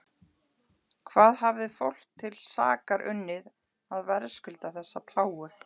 Hvað hafði fólk til sakar unnið að verðskulda þessa plágu?